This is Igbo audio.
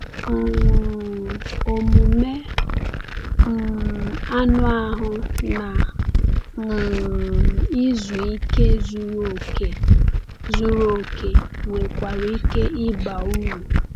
um Omume um anụ ahụ na um izu ike zuru oke zuru oke nwekwara ike ịba uru.